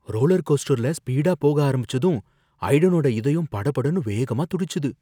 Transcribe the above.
roller coaster ஸ்பீடா போக ஆரம்பிச்சதும் ஐடனோட இதயம் படபடன்னு வேகமா துடிச்சுது